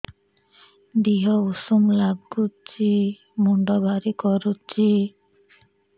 ଦିହ ଉଷୁମ ନାଗୁଚି ମୁଣ୍ଡ ଭାରି କରୁଚି